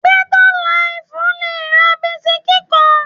Bẹ́tà laìfù le ra bisikí kan